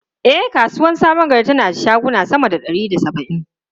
E, kasuwar Sabon Gari tana da shaguna sama da ɗari da saba’in.